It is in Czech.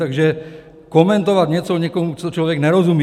Takže komentovat něco někomu, co člověk nerozumí...